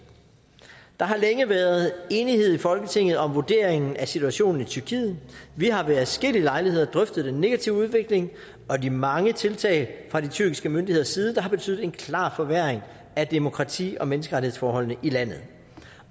der har længe været enighed i folketinget om vurderingen af situationen i tyrkiet vi har ved adskillige lejligheder drøftet den negative udvikling og de mange tiltag fra de tyrkiske myndigheders side der har betydet en klar forværring af demokrati og menneskerettighedsforholdene i landet